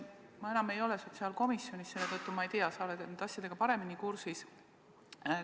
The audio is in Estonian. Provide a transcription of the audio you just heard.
Ma enam ei ole sotsiaalkomisjonis, selle tõttu ma ei tea, sa oled nende asjadega paremini kursis.